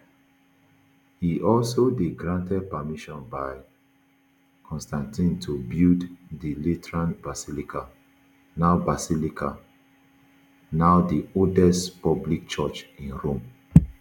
e also dey granted permission by constantine to build di lateran basilica now basilica now di oldest public church in rome